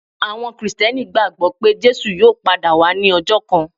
Àwọn Kìrìsìtíẹ́nì gbagbọ pe Jesu yóò pada wa ni ọjọ kan.